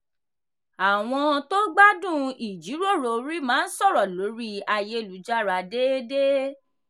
àwọn tó gbádùn ìjíròrò orí máa ń sọ̀rọ̀ lórí ayélujára déédéé.